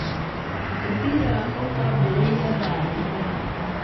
Mũbira ũkwambĩrĩria thaa inyanya.